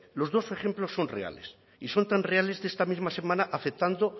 los dos ejemplos son reales y son tan reales de esta misma semana afectando